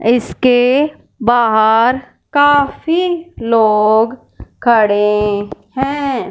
इसके बाहर काफी लोग खड़े हैं।